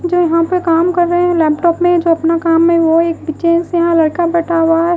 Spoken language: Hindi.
जो यहां पर काम कर रहे हैं लैपटॉप में जो अपना काम में वो एक पीछे से यहां लड़का बैठा हुआ है।